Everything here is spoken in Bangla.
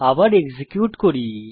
আবার এক্সিকিউট করি